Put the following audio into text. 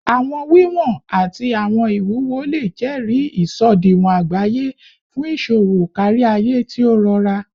Awọn wiwọn ati awọn iwuwo le jẹri isọdiwọn agbaye fun iṣowo kariaye ti o rọra